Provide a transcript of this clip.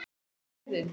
Verri leiðin.